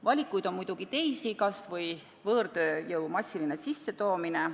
Valikuid on muidugi ka teisi, kas või võõrtööjõu massiline sissetoomine.